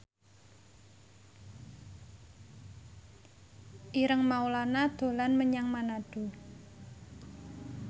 Ireng Maulana dolan menyang Manado